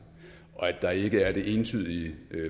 og at der ikke er et entydigt